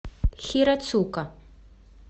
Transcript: хирацука